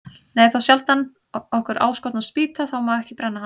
Nei, þá sjaldan okkur áskotnast spýta, þá má ekki brenna hana.